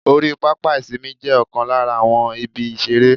Orí pápá ìsinmi jé Òkan lára àwọn ibi ìṣeré